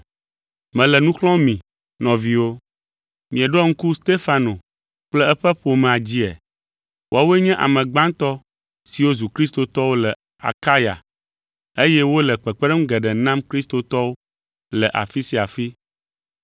Mele nu xlɔ̃m mi, nɔviwo. Mieɖoa ŋku Stefano kple eƒe ƒomea dzia? Woawoe nye ame gbãtɔ siwo zu kristotɔwo le Akaya eye wole kpekpeɖeŋu geɖe nam kristotɔwo le afi sia afi.